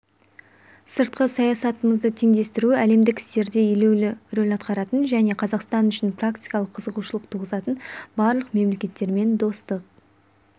сыртқы саясатымызды теңдестіру әлемдік істерде елеулі рөл атқаратын және қазақстан үшін практикалық қызығушылық туғызатын барлық мемлекеттермен достық